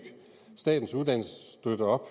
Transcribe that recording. statens uddannelsesstøtte op